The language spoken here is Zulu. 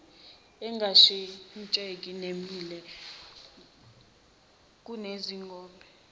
engashintsheki nemile kuneziwombe